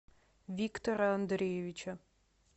виктора андреевича